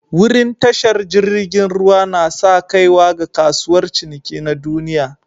Wurin tashar jirigin ruwa na'sa kaiwa ga kasuwar ciniki na duniyya.